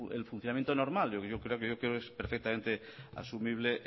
es el funcionamiento normal yo creo que es perfectamente asumible